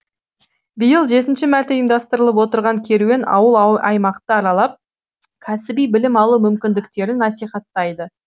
биыл жетінші мәрте ұйымдастырылып отырған керуен ауыл аймақты аралап кәсіби білім алу мүмкіндіктерін насихаттайды